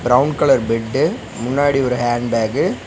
Brown colour bed முன்னாடி ஒரு hand bag .